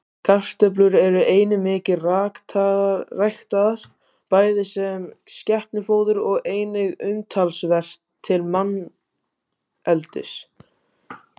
Kartöflur eru einnig mikið ræktaðar, bæði sem skepnufóður og einnig umtalsvert til manneldis.